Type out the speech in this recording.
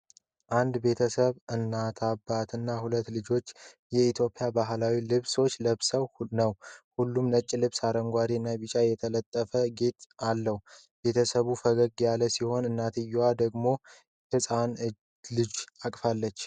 አንድ ቤተሰብ (እናት፣ አባት እና ሁለት ልጆች) የኢትዮጵያ ባህላዊ ልብሶችን ለብሰው ነው። ሁሉም ነጭ ልብስ በአረንጓዴ እና ቢጫ የተጠለፈ ጌጥ አለው። ቤተሰቡ ፈገግታ ያለው ሲሆን፣ እናትየዋ ደግሞ ሕፃን ልጅ አቅፋለች።